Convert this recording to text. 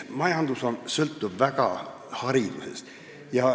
Majandus sõltub väga palju haridusest.